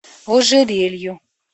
ожерелью